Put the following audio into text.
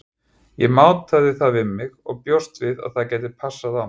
Ég mátaði það við mig og bjóst við að það gæti passað á mig.